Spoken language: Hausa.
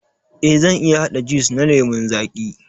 Eh, zan iya haɗa jiwis na lemun zaƙi.